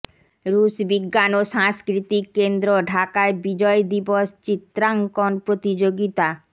রুশ বিজ্ঞান ও সাংস্কৃতিক কেন্দ্র ঢাকায় বিজয় দিবস চিত্রাঙ্কন প্রতিযোগিতা